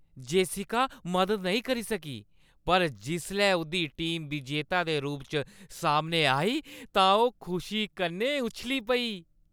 Jessica मदद नेईं करी सकी पर जिसलै उʼदी टीम विजेता दे रूप च सामनै आई तां ओह् खुशी कन्नै उच्छली पेई।